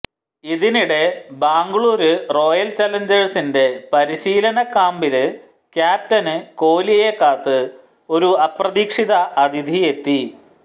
ഇതിനിടെ ബാംഗ്ലൂര് റോയല് ചലഞ്ചേഴ്സിന്റെ പരിശീലന ക്യാമ്പില് ക്യാപ്റ്റന് കോലിയെ കാത്ത് ഒരു അപ്രതീക്ഷിത അതിഥിയെത്തി